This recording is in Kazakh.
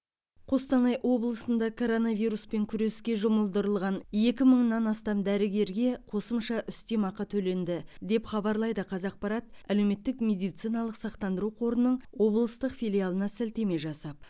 қостанай облысында коронавируспен күреске жұмылдырылған екі мыңнан астам дәрігерге қосымша үстемақы төленді деп хабарлайды қазақпарат әлеуметтік медициналық сақтандыру қорының облыстық филиалына сілтеме жасап